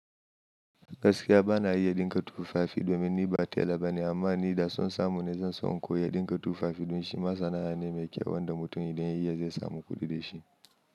Gaskiya bana iya dinka tufafi domin ni ba tala bane amma ni da so samu na zan so in koyi dinka tufafi don shi ma sana'a ne mai kyau wanda mutum idan ya iya zai samu kuɗi da shi.